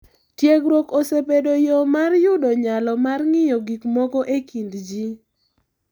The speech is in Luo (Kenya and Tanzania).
Tiegruok osebedo yo mar yudo nyalo mar ng’iyo gik moko e kind ji.